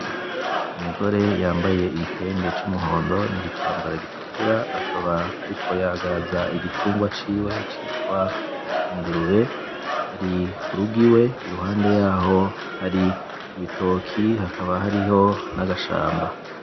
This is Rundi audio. Umugore yambaye igitenge c'umuhondo n'igitambara gitukura akaba ariko yagaza igitungwa ciwe citwa ingurube, ari kurugo iwe iruhande yaho hari ibitoke hakaba hariho n'agashamba.